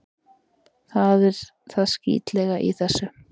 Það er það skítlega í þessu.